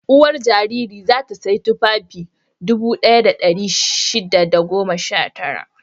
Uwar jariri za ta sayi tufafi dubu ɗaya da ɗari shida da goma sha tara.